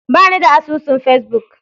Ba ni da asusun Facebook.